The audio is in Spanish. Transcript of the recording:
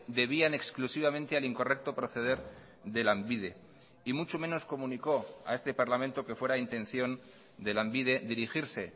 debían exclusivamente al incorrecto proceder de lanbide y mucho menos comunicó a este parlamento que fuera intención de lanbide dirigirse